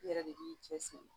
I yɛrɛ de b'i cɛ siri